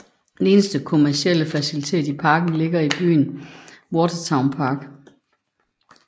Den eneste kommercielle facilitet i parken ligger i byen Waterton Park